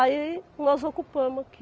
Aí nós ocupamos aqui.